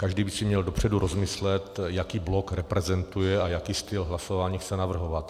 Každý by si měl dopředu rozmyslet, jaký blok reprezentuje a jaký styl hlasování chce navrhovat.